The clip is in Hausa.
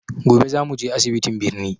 Gobe za mu je asibitiin birni.